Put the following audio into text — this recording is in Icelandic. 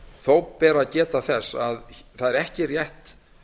þó ber að geta þess að það er ekki rétt